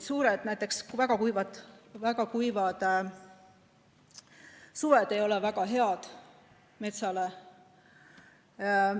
Näiteks väga kuivad suved metsale väga head ei ole.